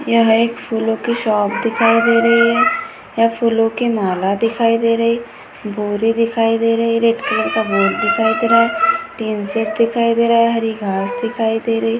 यह एक फूलों की शॉप दिखाई दे रही है यहाँ फूलों की माला दिखाई दे रही है भूले दिखाई दे रही है रेड कलर का भूल दिखाई दे रहा है टीन सेट दिखाई दे रहा है हरी घास दिखाई दे रही है।